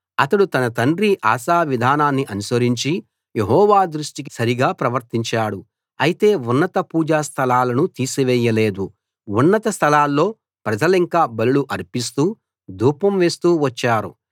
అతడు తన తండ్రి ఆసా విధానాన్ని అనుసరించి యెహోవా దృష్టికి సరిగా ప్రవర్తించాడు అయితే ఉన్నత పూజా స్థలాలను తీసేయలేదు ఉన్నత స్థలాల్లో ప్రజలింకా బలులు అర్పిస్తూ ధూపం వేస్తూ వచ్చారు